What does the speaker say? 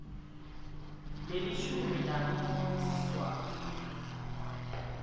lelishumi nambili siswati